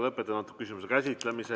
Lõpetan antud küsimuse käsitlemise.